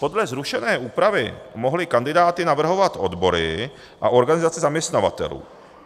Podle zrušené úpravy mohly kandidáty navrhovat odbory a organizace zaměstnavatelů.